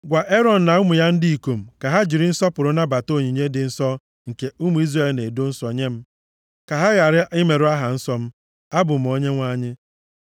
“Gwa Erọn na ụmụ ya ndị ikom ka ha jiri nsọpụrụ nabata onyinye dị nsọ nke ụmụ Izrel na-edo nsọ nye m, ka ha ghara imerụ aha nsọ m. Abụ m Onyenwe anyị.